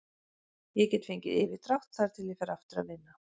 Ég get fengið yfirdrátt þar til ég fer aftur að vinna.